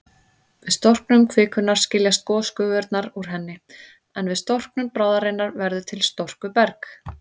Við storknun kvikunnar skiljast gosgufurnar úr henni, en við storknun bráðarinnar verður til storkuberg.